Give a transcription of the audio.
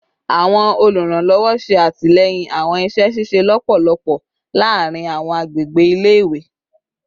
Awọn oluranlọwọ ṣe atilẹyin awọn iṣẹ ṣiṣe lọpọlọpọ laarin awọn agbegbe ile-iwe